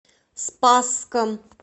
спасском